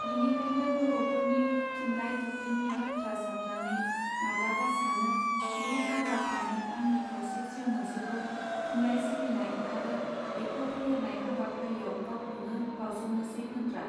बिनिखायनो बरफोरनि थुनलाय दुब्लिनि बाथ्रा सात्रानै माब्लाबा सानो बे आद्रा थानाय आंनि खावसे जिउ मोनसेखौ थुनलाइ सिबिनाय आरो बेखौ फेहेरनाय हाबाफारियाव गावखौनो बावसोमनोसै होत्रा.